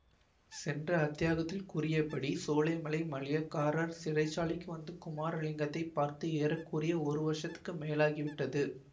சென்ற அத்தியாகத்தில் கூறியபடி சோலைமலை மணியக்காரர் சிறை சாலைக்கு வந்து குமாரலிங்கத்தைப் பார்த்து ஏற குறைய ஒரு வருஷத்துக்கு மேலாகிவிட்டது